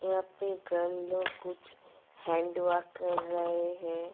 यहा पे गर्ल लोग कुछ हैंड वर्क कर रहे है।